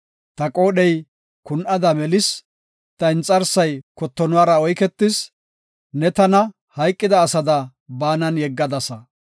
Ta qoodhey kun7ada melis; ta inxarsay kottonuwara oyketis; ne tana hayqida asada baanan yeggadasa.